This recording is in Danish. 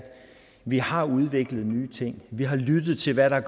vi har udviklet nye ting vi har lyttet til hvad der